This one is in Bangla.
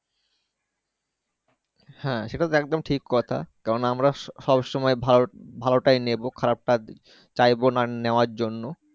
হ্যাঁ সেটা তো একদম ঠিক কথা কারণ আমরা সব সবসময়ই ভালো ভালোটাই নেবো খারাপটা চাইবো না নেওয়ার জন্য।